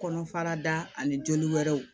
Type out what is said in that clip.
Kɔnɔ fara da ani joli wɛrɛw